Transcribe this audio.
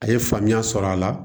A ye faamuya sɔrɔ a la